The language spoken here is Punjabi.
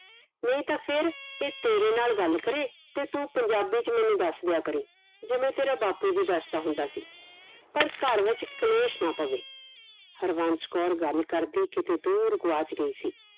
ਨਹੀਂ ਤਾ ਫੇਰ ਇਹ ਤੇਰੇ ਨਾਲ ਗੱਲ ਕਰੇ ਤੇ ਤੂੰ ਪੰਜਾਬੀ ਚ ਮੈਨੂੰ ਦਸ ਦੀਆ ਕਰੀ ਜਿਵੇਂ ਤੇਰਾ ਬਾਪੂ ਵੀ ਦੱਸਦਾ ਹੁੰਦਾ ਸੀ ਪਰ ਘਰ ਵਿਚ ਕਲੇਸ਼ ਨਾ ਪਵੇ ਹਰਵੰਸ਼ ਕੌਰ ਗੱਲ ਕਰਦੀ ਕਿਤੇ ਦੂਰ ਗਵਾਚ ਗਈ ਸੀ